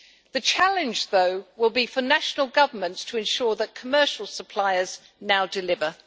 The challenge, though, will be for national governments to ensure that commercial suppliers now deliver.